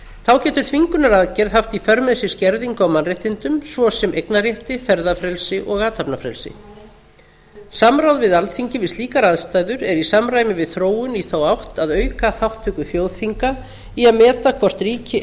þá getur þvingunaraðgerð haft í för með sér skerðingu á mannréttindum svo sem eignarrétti ferðafrelsi og athafnafrelsi samráð við alþingi við slíkar aðstæður er í samræmi við þróun í þá átt að auka þátttöku þjóðþinga í að meta hvort ríki